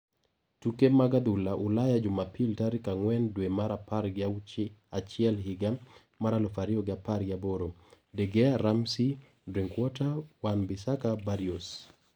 Tuke mag adhula Ulaya Jumapil tarik ang`wen dwe mar apar gi achiel higa mar aluf ariyo gi apar gi aboro: De Gea, Ramsey, Drinkwater, Wan-Bissaka, Barrios